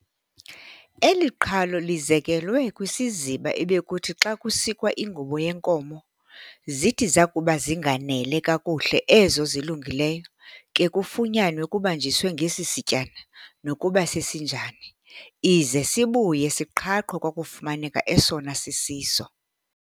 Eli qhalo lizekelwe kwisiziba ebekuthi xa kusikwa ingubo yenkomo, zithi zakuba zinganele kakuhle ezo zilunguleyo, ke kufunyanwe kubanjiswe ngesisityana nokuba sesinjani, ize sibuye siqhaqhwe kwakufumaneka esona sisiso.